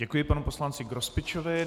Děkuji panu poslanci Grospičovi.